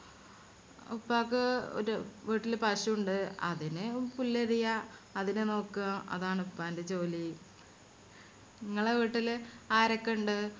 ഉപ്പാക്ക് ഒരു വീട്ടില് പശു ഇണ്ട് അതിനെ പുല്ലരിയാ അതിനെ നോക്കുക അതാണ് ഉപ്പാന്റെ ജോലി. ഇങ്ങളെ വീട്ടിൽ ആരൊക്കണ്ട്